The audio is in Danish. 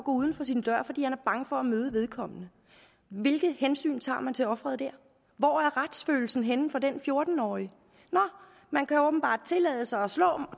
uden for sin dør fordi han er bange for at møde vedkommende hvilket hensyn tager man til offeret der hvor er retsfølelsen henne for den fjorten årige nå man kan åbenbart tillade sig at